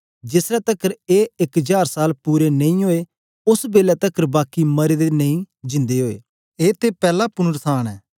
जेस ले तकर ए इक जार साल पूरे नेई ओए ओस बेलै तकर बाकी मरे दे नेई जिंदे ओए ए ते पैला पुनरुत्थान ऐ